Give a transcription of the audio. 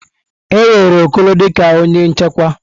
E were Okoro dị ka onye nchekwa.